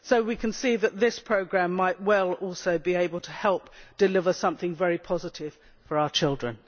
So we can see that this programme might well also be able to help deliver something very positive for our children.